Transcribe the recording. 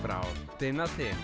tin